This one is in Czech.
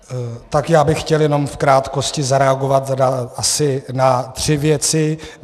Tak já bych chtěl jenom v krátkosti zareagovat asi na tři věci.